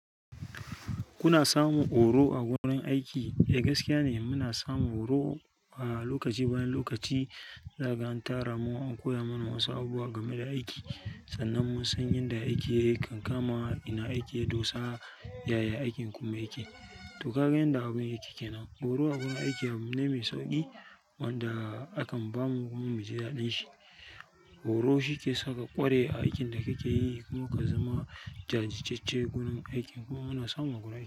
Kuna samun horo a wurin aiki? Eh gaskiya ne muna samun horo lokaci bayan lokaci. Za ka 'ga an tara mu an koya mana wasu abubuwa game da aiki sannan mun san yadda aiki kan kama, ina aiki, dosar yaya aikin kuma yake. To ka ga yanda abun aiki kenan. Horo a gurin aiki abu ne mai sauƙi wanda akan ba mu kuma mu ji daɗin shi. Horo shi ke saka ƙwarewa a aikin da kake yi kuma ka zama jajirtace gurin aikin kuma muna samun guri.